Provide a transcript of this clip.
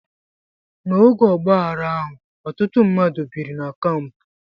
N'oge ọgbaaghara ahụ, ọtụtụ mmadụ biri na kampụ.